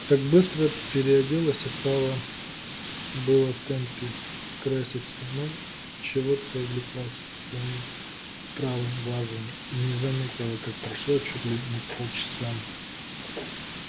так быстро переоделась и стала было в темпе краситься но чего-то увлеклась своим правым глазом и не заметила как прошло чуть ли не полчаса